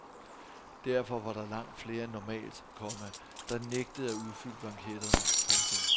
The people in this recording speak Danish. Derfor var der langt flere end normalt, komma der nægtede at udfylde blanketterne. punktum